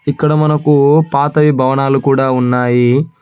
ఇక్కడ మనకు పాతవి భవనాలు కూడా ఉన్నాయి.